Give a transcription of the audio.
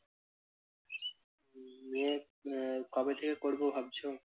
আহ কবে থেকে করবো ভাবছো?